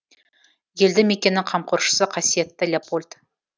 елді мекеннің қамқоршысы қасиетті леопольд